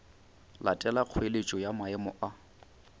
latela kgoeletšo ya maemo a